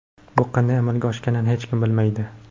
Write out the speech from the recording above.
Bu qanday amalga oshganini hech kim bilmaydi.